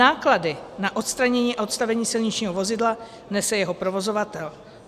Náklady na odstranění a odstavení silničního vozidla nese jeho provozovatel.